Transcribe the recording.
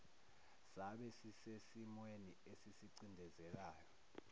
sabe sisesimweni esisicindezelayo